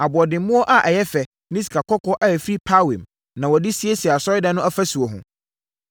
Aboɔdemmoɔ a ɛyɛ fɛ ne sikakɔkɔɔ a ɛfiri Parwaim na wɔde siesiee Asɔredan no afasuo ho.